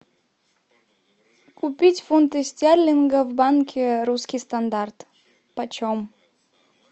купить фунты стерлинга в банке русский стандарт почем